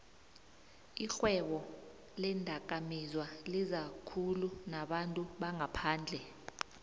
ixhwebo leendakamizwalizakhulu nabantu bangaphandle